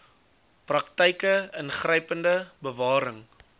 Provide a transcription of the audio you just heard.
praktyke ingrypende bewaring